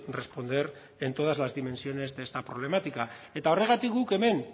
responder en todas las dimensiones de esta problemática eta horregatik guk hemen